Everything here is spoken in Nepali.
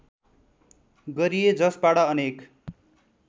गरिए जसबाट अनेक